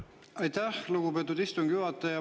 Aitäh, lugupeetud istungi juhataja!